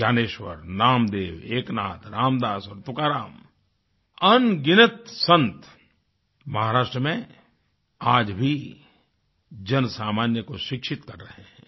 ज्ञानेश्वर नामदेव एकनाथ रामदास तुकाराम अनगिनत संत महाराष्ट्र में आज भी जनसामान्य को शिक्षित कर रहे हैं